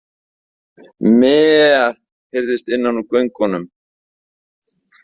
Meee, heyrðist innan úr göngunum.